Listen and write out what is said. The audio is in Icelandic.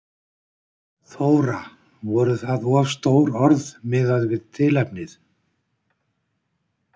Þóra: Voru það of stór orð miðað við tilefnið?